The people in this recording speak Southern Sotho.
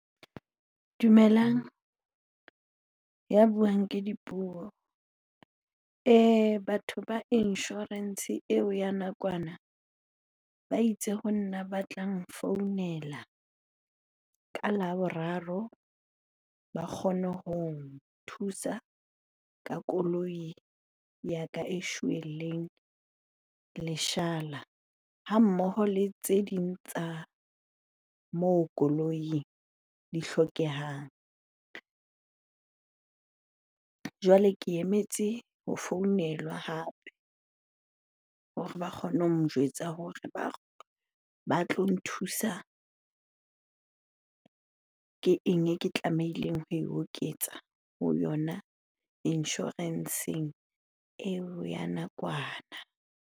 Dumelang, ya buang ke Dipuo. Batho ba insurance eo ya nakwana ba itse ho nna ba tla nfounela ka Laboraro ba kgone ho nthusa ka koloi ya ka e shweleng leshala ha mmoho le tse ding tsa moo koloing di hlokehang. Jwale ke emetse ho founelwa hape hore ba kgone ho njwetsa hore ba tlo nthusa. Ke eng e ke tlamehileng ho e oketsa ho yona insurance-eng eo ya nakwana?